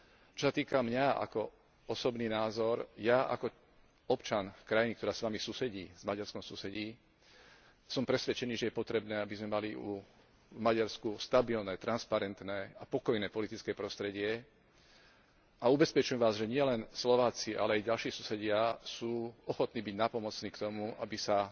Čo sa týka mňa, ako osobný názor, ja ako občan krajiny, ktorá s Maďarskom susedí, som presvedčený, že je potrebné, aby sme mali v Maďarsku stabilné, transparentné a pokojné politické prostredie a ubezpečujem vás, že nielen Slováci, ale aj ďalší susedia sú ochotní byť nápomocní k tomu, aby sa